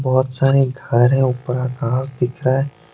बहुत सारे घर हैं ऊपर आकाश दिख रहा हैं।